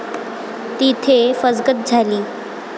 तिथे फसगत झाली.